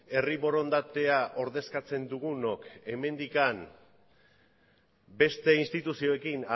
herri borondatea ordezkatzen dugunok hemendik beste instituzioekin